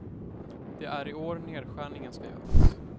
Det är i år nedskärningen ska göras.